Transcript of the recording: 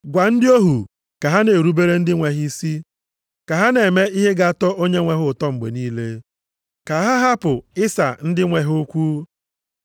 Gwa ndị ohu ka ha na-erubere ndị nwe ha isi, ka ha na-eme ihe ga-atọ onyenwe ha ụtọ mgbe niile. Ka ha hapụ ịsa ndị nwe ha okwu,